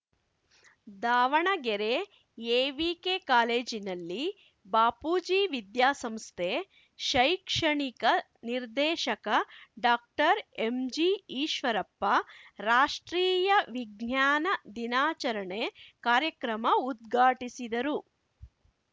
Davanagere AVK ಕಾಲೇಜಿನಲ್ಲಿ ಬಾಪೂಜಿ ವಿದ್ಯಾಸಂಸ್ಥೆ ಶೈಕ್ಷಣಿಕ ನಿರ್ದೇಶಕ ಡಾಕ್ಟರ್ಎಂಜಿಈಶ್ವರಪ್ಪ ರಾಷ್ಟ್ರೀಯ ವಿಜ್ಞಾನ ದಿನಾಚರಣೆ ಕಾರ್ಯಕ್ರಮ ಉದ್ಘಾಟಿಸಿದರು